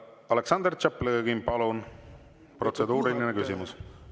Aleksandr Tšaplõgin, palun, protseduuriline küsimus!